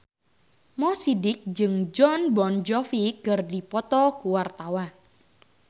Mo Sidik jeung Jon Bon Jovi keur dipoto ku wartawan